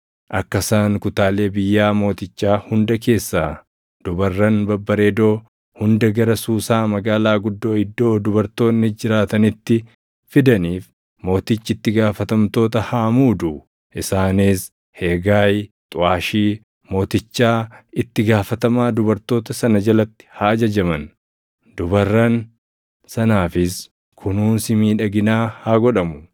Akka isaan kutaalee biyyaa mootichaa hunda keessaa dubarran babbareedoo hunda gara Suusaa magaalaa guddoo iddoo dubartoonni jiraatanitti fidaniif mootichi itti gaafatamtoota haa muudu; isaanis Heegaayi xuʼaashii mootichaa itti gaafatamaa dubartoota sana jalatti haa ajajaman; dubarran sanaafis kunuunsi miidhaginaa haa godhamu.